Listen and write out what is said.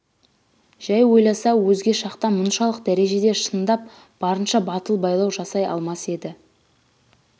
жай ойласа өзге шақта мұншалық дәрежеде шындап барынша батыл байлау жасай алмас еді